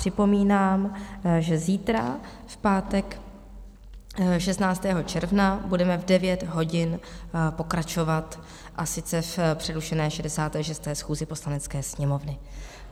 Připomínám, že zítra, v pátek 16. června, budeme v 9 hodin pokračovat, a sice v přerušené 66. schůzi Poslanecké sněmovny.